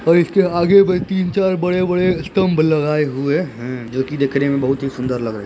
--और इसके आगे में तीन चार बड़े-बड़े स्तम्भ लगाए हुए हैं। जो की देखने में बहुत ही सुंदर लग रहे --